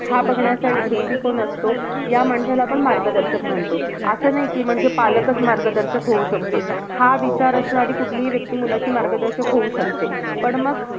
हा बघण्याचा एक दृष्टिकोन असतो. ह्या माणसाला आपण मार्गदर्शक म्हणतो. असं नाही की म्हणजे पालकच फक्त मार्गदर्शक होऊ शकतो. हा विचार असणारी कुठलीही व्यक्ती मुलाची मार्गदर्शक होऊ शकते. पण मग,